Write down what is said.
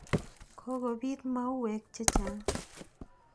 Kokopiit mauwek che chang'.